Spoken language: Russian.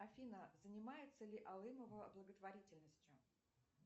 афина занимается ли алымова благотворительностью